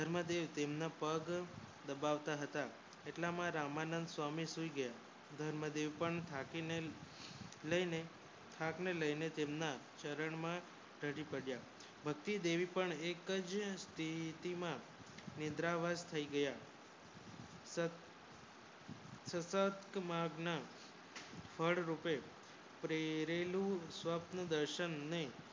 ભતી દેવી પણ એકજ સ્તિમા નિન્દ્રા વર્ષ થાઈ ગયા સાતત માગના ફડ રૂપે પ્રેરેલુ સ્વપ્ન દર્શન ને